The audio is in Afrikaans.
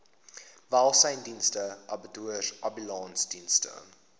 welsynsdienste abattoirs ambulansdienste